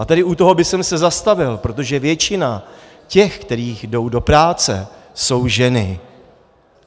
A tady u toho bych se zastavil, protože většina těch, kteří jdou do práce, jsou ženy.